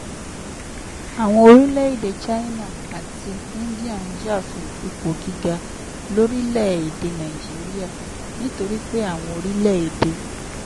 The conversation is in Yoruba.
àwọn orílẹ̀-èdè china àti india ń jà fún ipò gíga lórílẹ̀-èdè nàìjíríà nítorí pé àwọn orílẹ̀-èdè